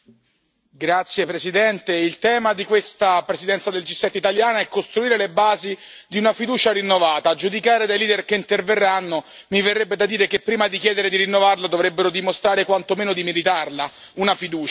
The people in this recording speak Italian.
Signora Presidente, onorevoli colleghi, il tema di questa presidenza del G7 italiana è costruire le basi di una fiducia rinnovata. A giudicare dai leader che interverranno mi verrebbe da dire che prima di chiedere di rinnovarla dovrebbero dimostrare quanto meno di meritarla una fiducia.